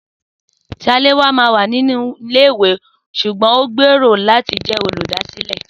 Saléwá wà ní ilé ìwé ṣugbọn ohun gbèrò láti jẹ oludasile